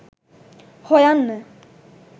හොයන්න